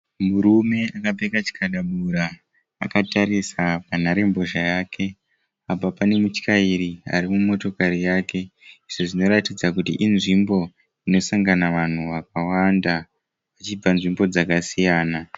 Murume akapfeka chikadabura akatarisa panharembozha yake. Apa pane muchairi ari mumotokari yake. Izvi zvinoratidza kuti inzvimbo inosangana vanhu vakawanda vachibva nzvimbo dzakasiyana.